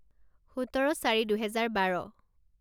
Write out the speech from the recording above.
সোতৰ চাৰি দুহেজাৰ বাৰ